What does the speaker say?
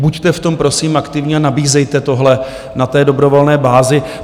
Buďte v tom prosím aktivní a nabízejte tohle na té dobrovolné bázi.